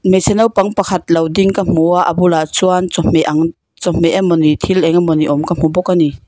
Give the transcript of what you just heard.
hmeichhe naupang pakhat lo ding ka hmu a a bulah chuan chawhmeh ang chawhmeh emaw ni thil eng emaw ni awm ka hmu bawk a ni.